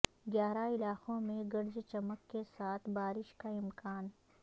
گیارہ علاقوں میں گرج چمک کے ساتھ بارش کا امکان